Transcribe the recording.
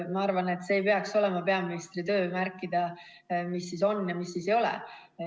Ma arvan, et see ei peaks olema peaministri töö märkida, mis on ja mis ei ole.